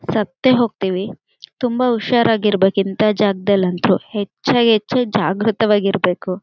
ಸತ್ತೇ ಹೋಗ್ತಿವಿ ತುಂಬಾ ಹುಷಾರಾಗಿರಬೇಕು ಇಂತ ಜಾಗದಲ್ಲಂತೂ ಹೆಚ್ಚಾಗಿ ಹೆಚ್ಚು ಜಾಗೃತವಾಗಿರಬೇಕು.